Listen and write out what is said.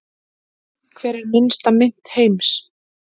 Hver er minnsta mynt heims?